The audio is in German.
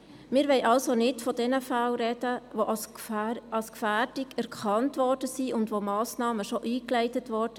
Wir wollen also nicht von diesen Fällen sprechen, die als Gefährdung erkannt worden sind und wegen derer Massnahmen bereits eingeleitet wurden.